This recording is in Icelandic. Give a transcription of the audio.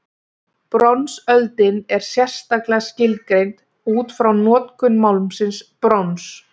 Bronsöldin er sérstaklega skilgreind útfrá notkun málmsins brons.